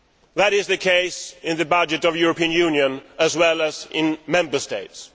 That is the case with the budget of the European Union as well as in Member States.